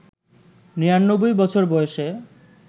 ৯৯ বছর বয়সে